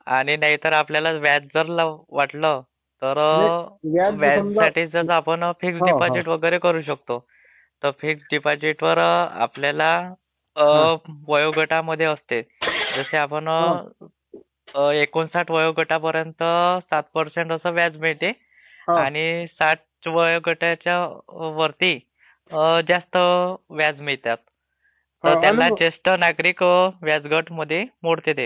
आणि नाहीतर आपल्याला व्याजदर वाटलं ... Voice overlapping तर व्याज वगैरे तर आपणं फीक्स डीपझिट वैगेरे करु शकतो...आणि फीक्स डीझिटवर आपल्याला वयोगटामध्ये असते..जसे..आपण एकोणसाठ वयोगटापर्यंत 7% चं व्याज मिळते...आणि साठ वयोगटाच्यावरती जास्त व्याज मिळते .ज्येष्ठ नागरीक गटामध्ये मोडते ते..